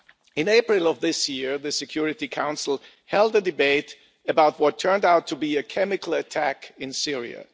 In April of this year, the Security Council held a debate about what turned out to be a chemical attack in Syria.